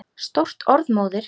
Stórt orð móðir!